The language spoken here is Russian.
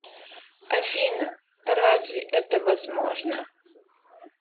афина разве это возможно